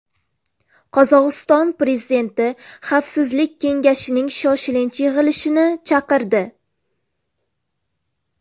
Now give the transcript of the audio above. Qozog‘iston prezidenti Xavfsizlik kengashining shoshilinch yig‘ilishini chaqirdi.